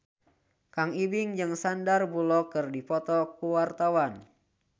Kang Ibing jeung Sandar Bullock keur dipoto ku wartawan